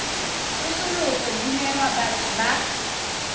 tsosoloso di newa batho ba